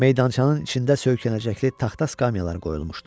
Meydançanın içində söykənəcəkli taxta skamyalar qoyulmuşdu.